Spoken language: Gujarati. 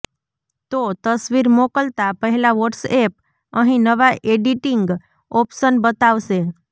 તો તસવીર મોકલતા પહેલા વોટ્સએપ અહીં નવા એડિટિંગ ઓપ્શન બતાવશે